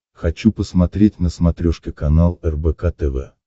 хочу посмотреть на смотрешке канал рбк тв